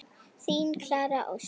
Þín Klara Ósk.